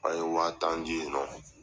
A ye wa tan di yen nɔ